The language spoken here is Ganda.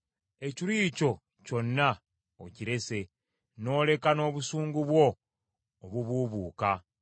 Ekiruyi kyo kyonna okirese, n’oleka n’obusungu bwo obubuubuuka.